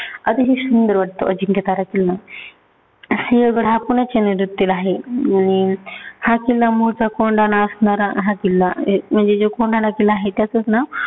अतिशय सुंदर वाटतो अजिंक्यतारा किल्ला. सिंहगड हा पण एक आहे. आणि हा किल्ला मुळचा कोंढाणा असणारा हा किल्ला. म्हणजे जो कोंढाणा किल्ला आहे, त्याचचं नाव